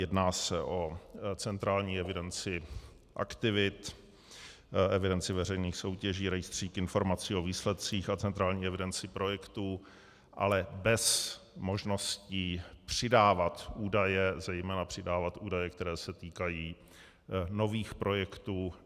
Jedná se o centrální evidenci aktivit, evidenci veřejných soutěží, rejstřík informací o výsledcích a centrální evidenci projektů, ale bez možnosti přidávat údaje, zejména přidávat údaje, které se týkají nových projektů.